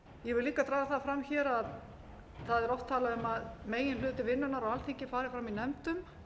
ég vil líka draga það fram að það er oft talað um að meginhluti vinnunnar á alþingi fari fram í nefndum